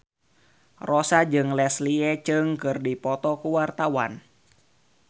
Rossa jeung Leslie Cheung keur dipoto ku wartawan